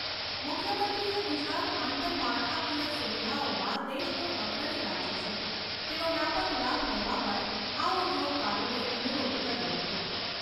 મુખ્યમંત્રીએ ગુજરાત આંતરમાળખાકીય સુવિધાઓમાં દેશનું અગ્રણી રાજ્ય છે તેનો વ્યાપક લાભ લેવા પણ આ ઉદ્યોગકારોને અનુરોધ કર્યો હતો.